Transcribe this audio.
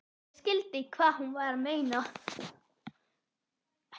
Ég skildi hvað hún var að meina.